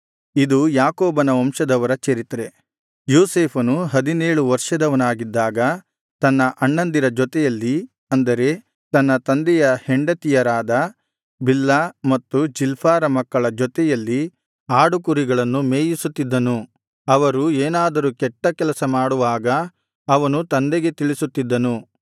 ಇದು ಯಾಕೋಬನ ವಂಶದವರ ಚರಿತ್ರೆ ಯೋಸೇಫನು ಹದಿನೇಳು ವರ್ಷದವನಾಗಿದ್ದಾಗ ತನ್ನ ಅಣ್ಣಂದಿರ ಜೊತೆಯಲ್ಲಿ ಅಂದರೆ ತನ್ನ ತಂದೆಯ ಹೆಂಡತಿಯರಾದ ಬಿಲ್ಹಾ ಮತ್ತು ಜಿಲ್ಪಾರ ಮಕ್ಕಳ ಜೊತೆಯಲ್ಲಿ ಆಡು ಕುರಿಗಳನ್ನು ಮೇಯಿಸುತ್ತಿದ್ದನು ಅವರು ಏನಾದರೂ ಕೆಟ್ಟ ಕೆಲಸ ಮಾಡುವಾಗ ಅವನು ತಂದೆಗೆ ತಿಳಿಸುತ್ತಿದ್ದನು